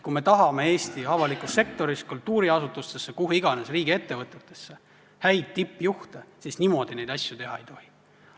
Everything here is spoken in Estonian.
Kui me tahame Eesti avalikus sektoris kultuuriasutustesse või kuhu iganes riigiettevõtetesse häid tippjuhte, siis niimoodi neid asju teha ei tohi.